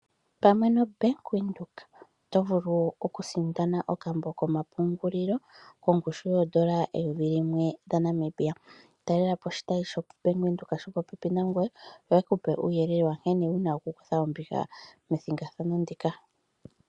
Pamwe noBank Windhoek oto vulu oku sindana okambo komapungulilo kongushu yoodola eyovi limwe dha Namibia. Talelapo oshitayi sho Bank windhoek sho popepi nangoye yoye kupe uuyelele wankene wuna oku kutha ombinga methigathano ndika.